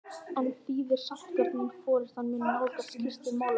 En þýðir sáttagjörðin að forystan muni nálgast Kristin málefnalega?